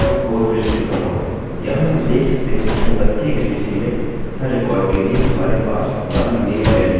यहाँ हम देख सकते हैं कि यहाँ प्रत्येक स्थिति में हर रिकार्ड के लिए हमारे पास हमारी नेम वेल्यूस और हमारी id वेल्यू हैं